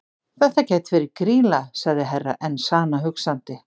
Þetta gæti verið Grýla, sagði Herra Enzana hugsandi.